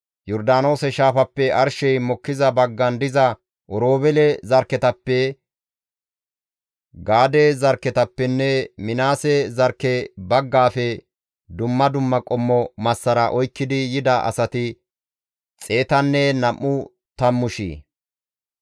Yordaanoose shaafappe arshey mokkiza baggan diza Oroobeele zarkketappe, Gaade zarkketappenne Minaase zarkke baggaafe dumma dumma qommo massara oykkidi yida asati xeetanne nam7u tammu shiya.